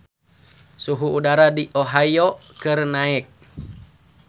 Suhu udara di Ohio keur naek